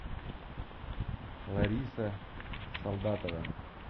лариса солдатова